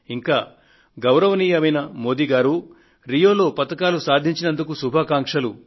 ఇంకా గౌరవనీయ మోదీ గారు రియోలో పతకాలు సాధించినందుకు శుభాకాంక్షలు